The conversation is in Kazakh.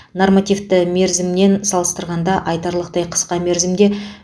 нормативті мерзіммен салыстырғанда айтарлықтай қысқа мерзімде